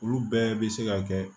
Olu bɛɛ bɛ se ka kɛ